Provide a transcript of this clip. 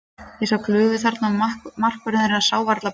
Ég sá glufu þarna og markvörðurinn þeirra sá varla boltann.